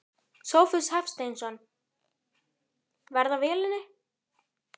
Sófus Hafsteinsson: Verð á vélinni?